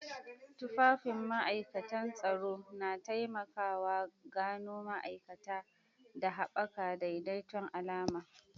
Tufafin ma'ikatan tsaro na taimaka wa gano ma'aikata da haɓaka daidaiton alama.